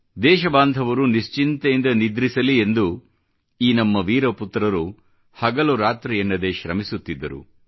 ದೇಶ ಬಾಂಧವರು ನಿಶ್ಚಿಂತೆಯಿಂದ ನಿದ್ರಿಸಲಿ ಎಂದು ಈ ನಮ್ಮ ವೀರ ಪುತ್ರರು ಹಗಲು ರಾತ್ರಿ ಎನ್ನದೆ ಶ್ರಮಿಸುತ್ತಿದ್ದರು